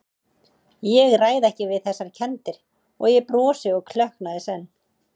Ég ræð ekki við þessar kenndir- og ég brosi og klökkna í senn.